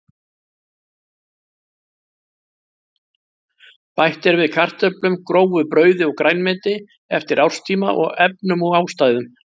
Bætt er við kartöflum, grófu brauði og grænmeti eftir árstíma og efnum og ástæðum.